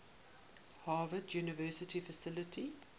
harvard university faculty